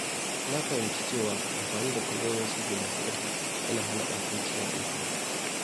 Na fahimci cewa amfani da kalmomin sirri masu ƙarfi yana hana ɓatanci na intanet.